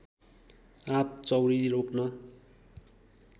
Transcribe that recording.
आँप चाउरी रोक्न